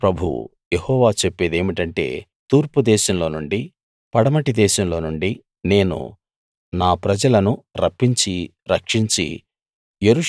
సేనల ప్రభువు యెహోవా చెప్పేదేమిటంటే తూర్పు దేశంలో నుండి పడమటి దేశంలో నుండి నేను నా ప్రజలను రప్పించి రక్షించి